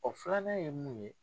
filanan ye mun ye.